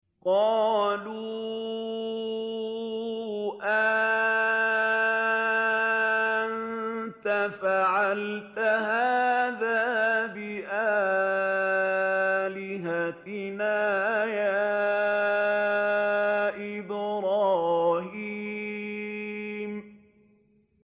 قَالُوا أَأَنتَ فَعَلْتَ هَٰذَا بِآلِهَتِنَا يَا إِبْرَاهِيمُ